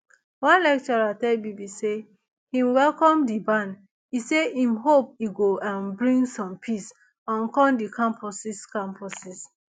one lecturer tell bbc say im welcome di ban e say im hope e go um bring some peace um come di campuses campuses